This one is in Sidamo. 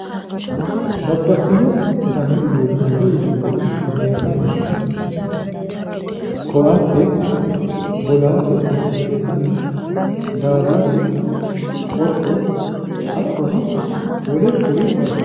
Babbaxino dani uduunnicho yineemmohu meesane koatte bolaale meesane daallasu qotto hattono wole kuri labbinoreeti.